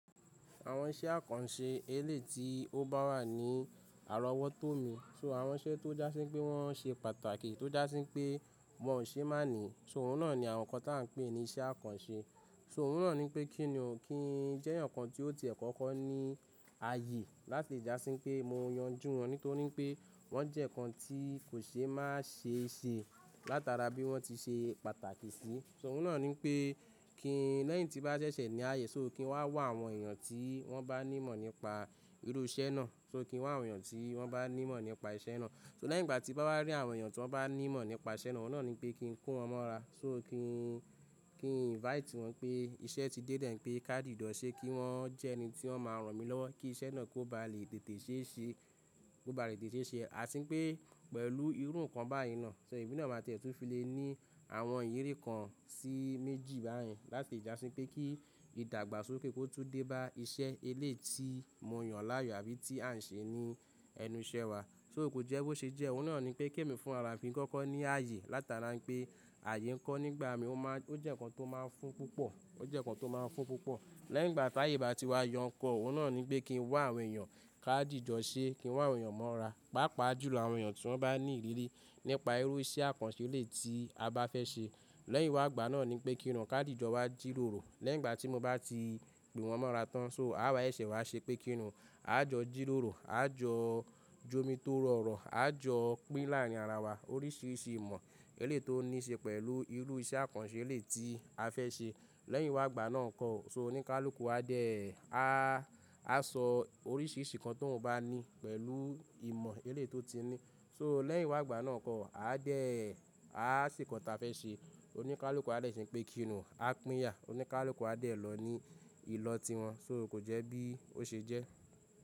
Àwọn iṣẹ́ àkànṣe elé ti ó bá wà ní àrọ́wọ́tó mi, ṣọ àwọn iṣẹ́ tó jásín pé wọ́n ṣe pàtàkì, tó jásín pé wọn ò ṣe máàní, ṣọ òun náà ni àwọn nǹkan tí à ń pè ní iṣẹ́ àkànṣe. Ṣọ òun náà ní pé kí ni òún kí jẹ́ ǹkan tí ó ti ẹ̀kọ́kọ́ ni ààyè láti jásín pé mo yanjú wọn nítorí pé wọn jẹ ǹkan tí kò ṣe má ṣe ṣe látara bí wọn ti ṣe pàtàkì sí. Ṣọ òun náà ní pé kí lẹ́yìn tí bá ṣẹ̀ṣẹ̀ ní ààyè, ṣọ ó kí n wá wọ àwọn èèyàn tí wọ́n bá ní ìmọ̀ nípa irú iṣẹ́ náà. Ṣọ ó kí n wá àwọn èèyàn tí wọ́n bá ní ìmọ̀ nípa iṣẹ́ náà. Ṣọ lẹ́yìn ìgbà tí bá wá rí àwọn èèyàn tí wọ́n bá ní ìmọ̀ nípa iṣẹ́ náà, òun náà ní pé kí n kó wọn mọ́ra. Ṣọ ó kí n, kí n invite wọn pé iṣẹ́ ti dé dẹ̀ ẹ́ pé ká dì ìdọ̀ṣe kí wọ́n jẹ́ ẹni tí wọ́n máa rán mi lọ́wọ́ kí iṣẹ́ náà kó bá lè tètè ṣe ṣe, kó bá lè tètè ṣe ṣe. A sín pé pẹ̀lú irú nǹkan báyìí náà. Ṣọ èmi náà máa tiẹ̀tú filé ní àwọn ìyèrí kan sí méjì báyìí láti jásín pé kí ìdàgbàsókè kó tú dé bá iṣẹ́ elé ti mo yàn láàyò àbí ti a ń ṣe ní ẹnú iṣẹ́ wa. Ṣọ ò kó jẹ́ bó ṣe jẹ́, òun náà ní pé kí èmi fún ara mi kọ́kọ́ ní ààyè látara pé ààyè ńkọ́ nígbà mí ó má a, ó jẹ́ ǹkan tó máa ń fún púpọ̀, ó jẹ́ ǹkan tó máa ń fún púpọ̀. Lẹ́yìn ìgbà tí ààyè bá ti wá yan ǹkan, òun náà ní pé kí n wá àwọn èèyàn ká dì ìjọ̀ṣe, kí n wá àwọn èèyàn mọ́ra, pàápàá jùlọ àwọn èèyàn tí wọ́n bá ní ìrírí nípa irú iṣẹ́ àkànṣe elé tí a bá fẹ́ ṣe. Lẹ́yìn wá àgbà náà ni pé kí inú ká dì ìjọ̀ọ́ wá jírórò. Lẹ́yìn ìgbà tí mo bá ti gbé wọn mọ́ra tán, ṣọ a bá yẹ̀sẹ̀ wá ṣe pé kí inú a jọ jírórò, a jọ j'omi tó rọ̀rọ̀, a jọ pín láàárín ara wa oríṣiríṣi ìmọ̀ elé tó níí ṣe pẹ̀lú irú iṣẹ́ àkànṣe elé tí a fẹ́ ṣe. Lẹ́yìn wá àgbà náà kọ́, ṣọ oníkálùú kó á dẹ́, a, a sọ oríṣiríṣi ǹkan tó ún bá ní pẹ̀lú ìmọ̀ elé tó ti ní. Ṣọ lẹ́yìn wá àgbà náà kọ́, a dẹ́ẹ́, a ṣe ǹkan ta fe ṣe. Oníkálùú kó á dẹ́ ẹ́ ṣe pé kí inú a pín yà, oníkálùú kó á dẹ́ ẹ́ lọ ní ìlọ̀ tí wọn. Ṣọ ò kó jẹ́ bí ó ṣe jẹ́?